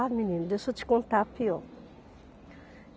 Ah menino, deixa eu te contar a pior.